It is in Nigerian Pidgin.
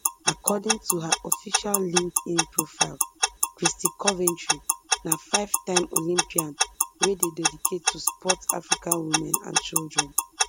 according to her official linkedin profile christy coventry na fivetime olympian wey dey dedicated to sport africa women and children